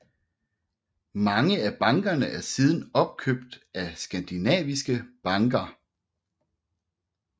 Mange af bankerne er siden opkøbt af skadinaviske banker